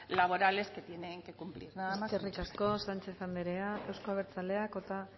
laborales que se tienen que cumplir eskerrik asko sánchez anderea euzko abertzaleak